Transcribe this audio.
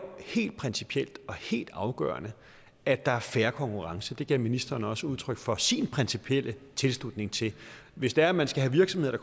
helt principielt og helt afgørende at der er fair konkurrence det gav ministeren også udtryk for sin principielle tilslutning til hvis det er man skal have virksomheder